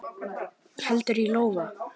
Heldur lof í lófa.